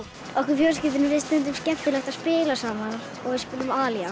okkur fjölskyldunni finnst stundum skemmtilegt að spila saman og við spilum